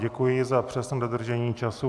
Děkuji za přesné dodržení času.